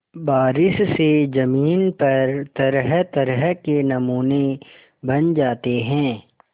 बारिश से ज़मीन पर तरहतरह के नमूने बन जाते हैं